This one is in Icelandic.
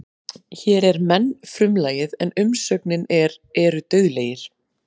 Hér er menn frumlagið en umsögnin er eru dauðlegir.